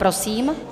Prosím.